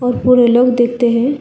और पूरे लोग देखते है।